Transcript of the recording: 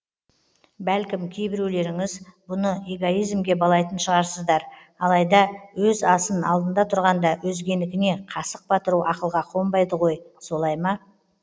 бәлкім кейбіреулеріңіз бұны эгоизмге балайтын шығарсыздар алайда өз асын алдында тұрғанда өзгенікіне қасық батыру ақылға қонбайды ғой солай ма